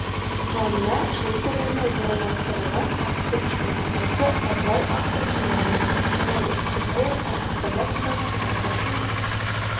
туғанына жыл толуына орайластырылған ақ күріштің атасы ыбырай атты көрмені тамашалайды сондай-ақ қазақстанда жасалған маркасымен